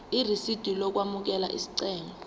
irisidi lokwamukela isicelo